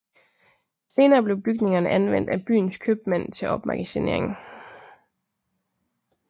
Senere blev bygningerne anvendt af byens købmænd til opmagasinering